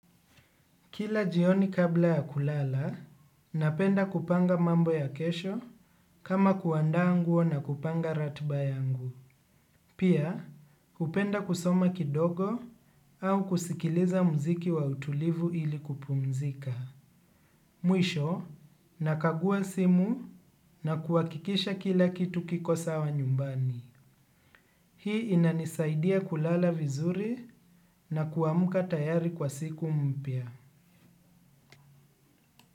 Kila jioni kabla ya kulala, napenda kupanga mambo ya kesho kama kuandaa nguo na kupanga ratiba yangu. Pia, hupenda kusoma kidogo au kusikiliza muziki wa utulivu ili kupumzika. Mwisho, nakagua simu na kuhakikisha kila kitu kiko sawa nyumbani. Hii inanisaidia kulala vizuri na kuamka tayari kwa siku mpya.